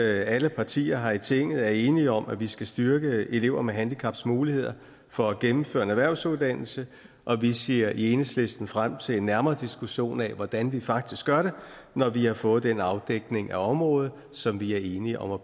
alle partier her i tinget er enige om at vi skal styrke elever med handicaps muligheder for at gennemføre en erhvervsuddannelse og vi ser i enhedslisten frem til en nærmere diskussion af hvordan vi faktisk gør det når vi har fået den afdækning af området som vi er enige om at